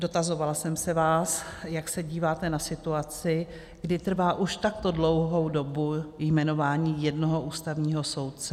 Dotazovala jsem se vás, jak se díváte na situaci, kdy trvá už takto dlouhou dobu jmenování jednoho ústavního soudce.